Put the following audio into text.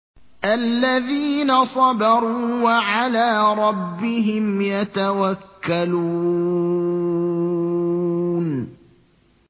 الَّذِينَ صَبَرُوا وَعَلَىٰ رَبِّهِمْ يَتَوَكَّلُونَ